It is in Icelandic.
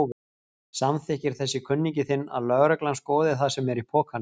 Samþykkir þessi kunningi þinn að lögreglan skoði það sem er í pokanum?